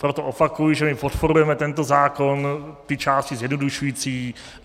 Proto opakuji, že my podporujeme tento zákon, ty části zjednodušující.